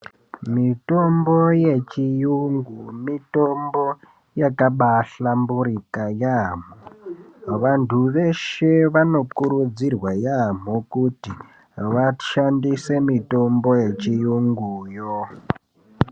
Mitombo yechiyungu mitombo yakaba ahlamburuka yaamho vantu veshe vanokurudzirwa yaamho kuti vashandise mitombo yechiyungu yo.